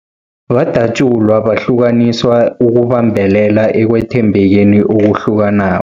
Badatjulwa, bahlukaniswa ukubambelela ekwethembekeni okuhlukanako.